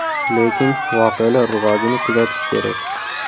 Lekin voqealar rivojini kuzatish kerak.